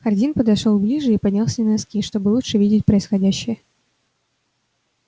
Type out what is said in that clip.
хардин подошёл ближе и поднялся на носки чтобы лучше видеть происходящее